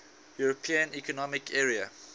european economic area